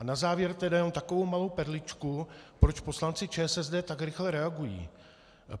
A na závěr tedy jenom takovou malou perličku, proč poslanci ČSSD tak rychle reagují.